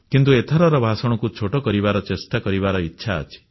କିନ୍ତୁ ଏଥରର ଭାଷଣକୁ ଛୋଟ କରିବାର ଚେଷ୍ଟା କରିବାର ଇଚ୍ଛା ଅଛି